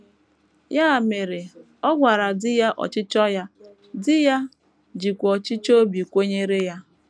Ya mere ọ gwara di ya ọchịchọ ya, di ya jikwa ọchịchọ obi kwenyere ya.